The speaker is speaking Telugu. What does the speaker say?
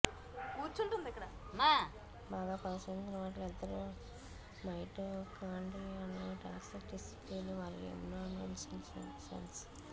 బాగా పరిశోధించిన వాటిలో ఇద్దరూ మైటోకాన్డ్రియాల్ టాక్సిటిసిటీ మరియు ఇమ్యునోన్సెన్సెసెన్స్